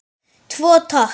Tvo, takk!